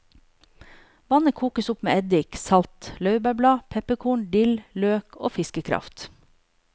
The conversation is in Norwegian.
Vannet kokes opp med eddik, salt, laurbærblad, pepperkorn, dill, løk og fiskekraft.